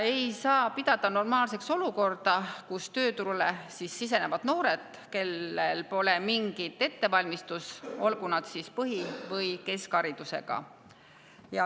Ei saa pidada normaalseks olukorda, kus tööturule sisenevad noored, kellel pole mingit ettevalmistust, olgu nad põhi‑ või keskharidusega.